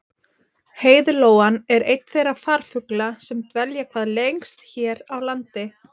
heiðlóan er einn þeirra farfugla sem dvelja hvað lengst hér á landi